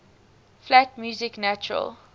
flat music natural